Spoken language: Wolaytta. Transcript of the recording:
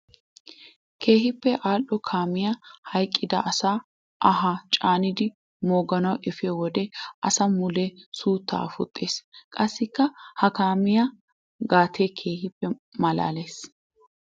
Keehippe ali'o kaamiya hayqqidda asaa anhaa caaniddi mooganawu efiyo wode asaa muliyaa suutta afuxxisees. Qassikka ha kaamiya gatee keehippe malaales.